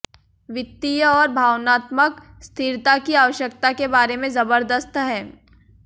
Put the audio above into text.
वित्तीय और भावनात्मक स्थिरता की आवश्यकता के बारे में जबरदस्त है